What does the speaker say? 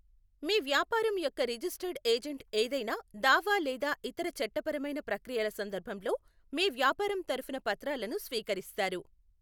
మీ వ్యాపారం యొక్క registered agent ఏదైనా దావా లేదా ఇతర చట్టపరమైన ప్రక్రియల సందర్భంలో మీ వ్యాపారం తరపున పత్రాలను స్వీకరిస్తారు.